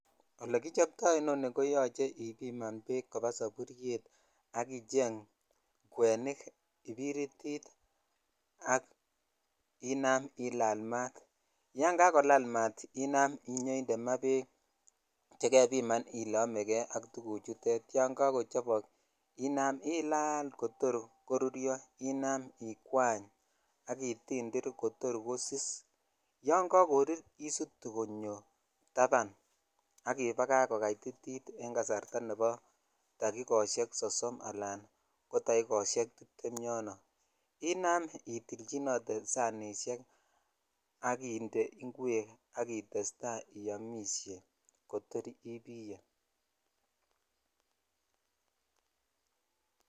Ole kichobto inoni koyocheibiman beek koba saburyet akicheng kwenik ,kibiritit ak inam ill maat yon kakolal meat I am iyoinde maa bek chekebiman ile oekei Bishkek yon kochobo inam ilal kotor koruryo ikwany ititir kotir kosis yan kakorur isutu konyo tapan ak ibakach kokatititen kasarta nebo dakikoshek sosom inam itelchinote sanishek ak indee Ingwek ak itestai iyomishe kotor ibiyee.